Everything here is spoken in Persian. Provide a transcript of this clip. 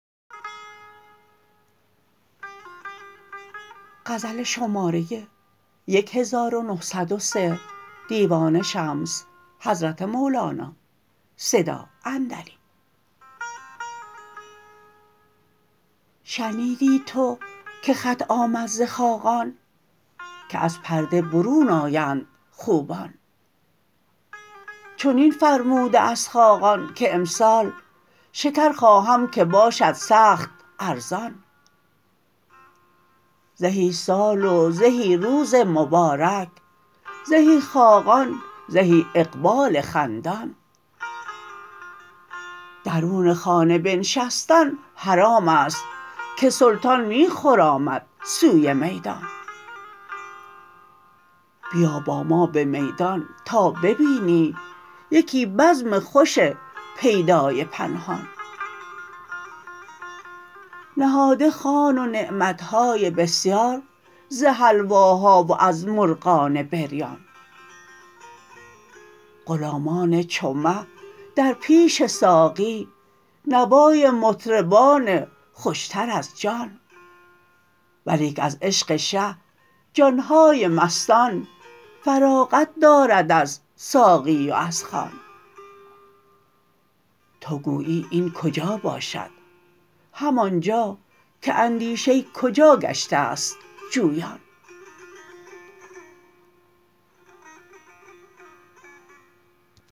شنیدی تو که خط آمد ز خاقان که از پرده برون آیند خوبان چنین فرموده است خاقان که امسال شکر خواهم که باشد سخت ارزان زهی سال و زهی روز مبارک زهی خاقان زهی اقبال خندان درون خانه بنشستن حرام است که سلطان می خرامد سوی میدان بیا با ما به میدان تا ببینی یکی بزم خوش پیدای پنهان نهاده خوان و نعمت های بسیار ز حلواها و از مرغان بریان غلامان چو مه در پیش ساقی نوای مطربان خوشتر از جان ولیک از عشق شه جان های مستان فراغت دارد از ساقی و از خوان تو گویی این کجا باشد همان جا که اندیشه کجا گشته ست جویان